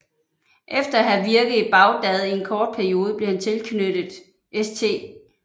Efter at have virket i Bagdad en kort periode blev han tilknyttet St